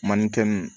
Manden